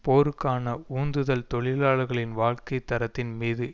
போருக்கான உந்துதல் தொழிலாளர்களின் வாழ்க்கை தரத்தின் மீது